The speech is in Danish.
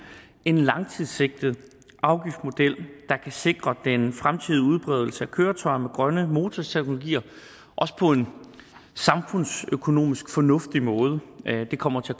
en langsigtet afgiftsmodel der kan sikre den fremtidige udbredelse af køretøjer med grønne motorteknologier også på en samfundsøkonomisk fornuftig måde det kommer til